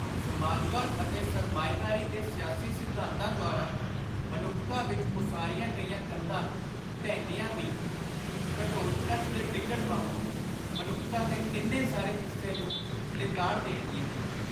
ਸਮਾਜਵਾਦ ਅਤੇ ਸਰਮਾਏਦਾਰੀ ਦੇ ਸਿਆਸੀ ਸਿਧਾਂਤਾਂ ਦੁਆਰਾ ਮਨੁੱਖਤਾ ਵਿਚ ਉਸਾਰੀਆਂ ਗਈਆਂ ਕੰਧਾਂ ਢਹਿੰਦੀਆਂ ਵੀ, ਘਟੋਤਕੱਚ ਦੇ ਡਿੱਗਣ ਵਾਂਗੂੰ, ਮਨੁੱਖਤਾ ਦੇ ਕਿੰਨੇ ਸਾਰੇ ਹਿੱਸੇ ਨੂੰ ਲਿਤਾੜ ਦੇਣਗੀਆਂ।